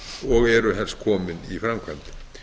og eru helst komin í framkvæmd